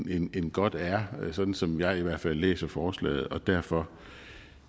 end godt er som som jeg i hvert fald læser forslaget og derfor